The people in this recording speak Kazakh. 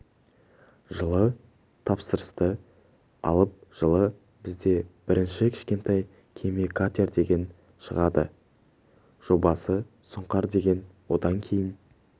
жылы тапсырысты алып жылы бізде бірінші кішкентай кеме катер деген шығады жобасы сұңқар деген одан кейін